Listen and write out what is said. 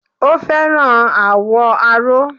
O fẹ́ràn àwọ̀ aró.